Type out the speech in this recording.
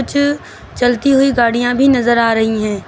कुछ चलती हुई गाड़ियां भी नजर आ रही हैं।